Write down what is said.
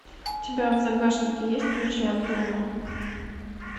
у тебя в загашнике есть ключи от дома